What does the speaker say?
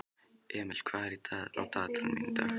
Emil, hvað er á dagatalinu í dag?